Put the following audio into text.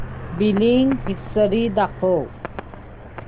billing history दाखव